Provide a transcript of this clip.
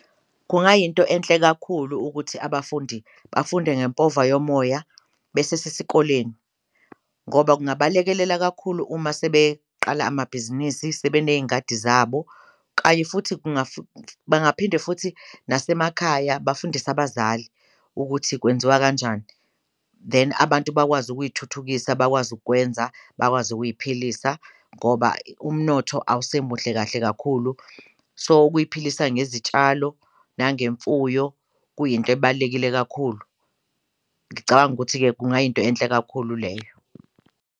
Kungayinto enhle kakhulu ukuthi abafundi bafunde ngempova yomoya besesesikoleni ngoba kungabalekelela kakhulu uma sebeqala amabhizinisi, sebe ney'ngadi zabo kanye futhi bangaphinde futhi nasemakhaya bafundise abazali ukuthi kwenziwa kanjani. Then abantu bakwazi ukuthuthukisa bakwazi ukukwenza, bakwazi ukuy'philisa ngoba umnotho awusemuhle kahle kakhulu so ukuy'philisa ngezitshalo nangemfuyo kuyinto ebalulekile kakhulu, ngicabanga ukuthi-ke kungayinto enhle kakhulu leyo.